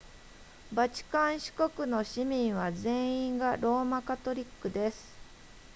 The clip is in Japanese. バチカン市国の市民は全員がローマカトリックです